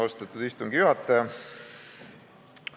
Austatud istungi juhataja!